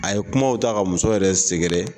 A ye kumaw ta ka muso yɛrɛ sɛgɛrɛ